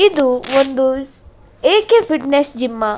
ಇದು ಒಂದು A K fitness gym --